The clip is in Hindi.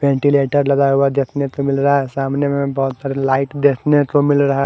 वेंटिलेटर लगाया हुआ है देखने पे मिल रहा है सामने में बहुत सारे लाइट देखने को मिल रहा है।